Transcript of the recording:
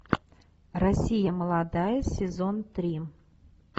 россия молодая сезон три